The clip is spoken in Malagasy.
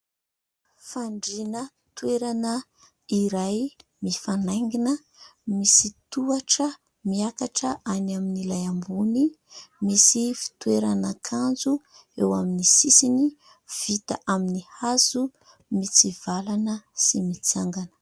Fandriana toerana iray mifanaingina misy tohatra miakatra any amin'ilay ambony, misy fitoerana akanjo eo amin'ny sisiny, vita amin'ny hazo mitsivalana sy mitsangana.